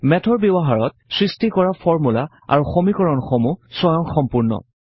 মেথৰ ব্যৱহাৰত সৃষ্টি কৰা ফৰ্মূলা আৰু সমিকৰণসমূহ স্বয়ংসম্পূৰ্ণ